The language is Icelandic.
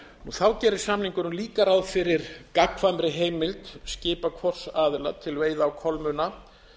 þá gerir samningurinn líka ráð fyrir gagnkvæmri heimild skipa hvors aðila til veiða á kolmunna